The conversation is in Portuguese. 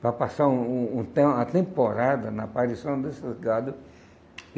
para passar um um tem uma temporada na aparição desses gado.